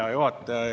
Hea juhataja!